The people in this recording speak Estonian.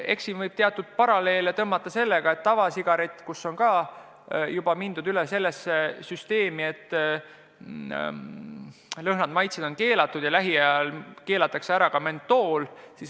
Eks siin võib teatud paralleele tõmmata sellega, et ka tavasigareti puhul on mindud üle sellele, et lõhnad ja maitsed on keelatud ja lähiajal keelatakse ära ka mentool.